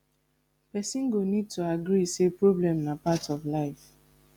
person go need to agree say problem na part of life